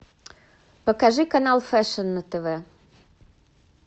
покажи канал фэшн на тв